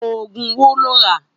Ógún wó ló n rá?